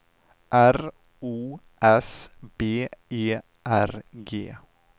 R O S B E R G